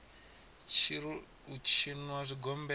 tshi ri u tshinwa zwigombela